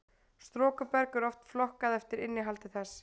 storkuberg er oft flokkað eftir innihaldi þess